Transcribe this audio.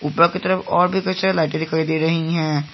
की तरफ और भी कुछ लाइटे दिखाई दे रही है।